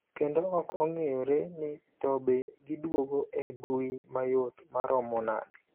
Kendo ok ong'eyore ni tobe giduogo e mbui mayot maromo nade.